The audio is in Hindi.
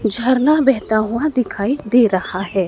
झरना बहता हुआ दिखाई दे रहा है।